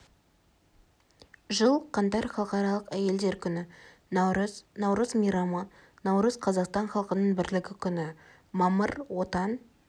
жыл қаңтар халықаралық әйелдер күні наурыз наурыз мейрамы наурыз қазақстан халқының бірлігі күні мамыр отан